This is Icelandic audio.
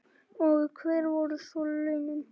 Og hver voru svo launin?